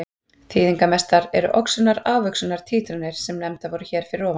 Þýðingarmestar eru oxunar-afoxunar títranir sem nefndar voru hér fyrir ofan.